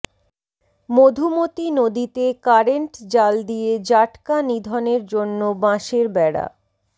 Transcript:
মধুমতি নদীতে কারেন্ট জাল দিয়ে জাটকা নিধনের জন্য বাঁশের বেড়া